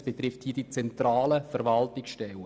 Es betrifft nur die zentralen Verwaltungsstellen.